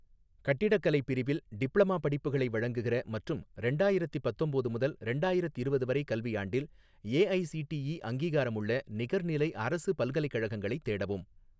கட்டிடக்கலை பிரிவில் டிப்ளமா படிப்புகளை வழங்குகிற மற்றும் ரெண்டாயிரத்தி பத்தொம்போது முதல் ரெண்டாயிரத்திரவது வரை கல்வியாண்டில் ஏஐசிடிஇ அங்கீகாரமுள்ள நிகர்நிலை அரசு பல்கலைக்கழகங்களைத் தேடவும்.